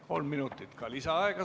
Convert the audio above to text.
Kolm minutit saab lisaaega.